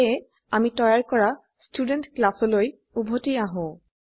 সেয়ে আমি তৈয়াৰ কৰাStudent ক্লাসলৈ উভতি আহো